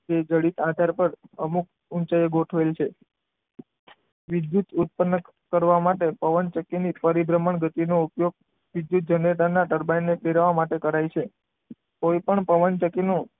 એક ઘડી આધાર પર અમુક ઊંચાઈએ ગોઠવેલ છે. વિદ્યુત ઉત્પન્ન કરવા માટે પવનચક્કીને ફરતી પરિભ્રમણ ગતિનો ઉપયોગ વિદ્યુત જનરેટર ના ટર્બાઇન ને ફેરવવા માટે થાય છે. કોઈપણ પવનચક્કીનું,